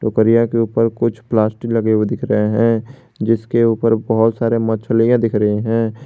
कारिया के ऊपर कुछ प्लास्टिक लगे हुवे दिख रहे हैं जिसके ऊपर बहुत सारी मछलियां दिख रही हैं।